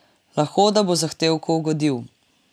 Lahko da bo zahtevku ugodil.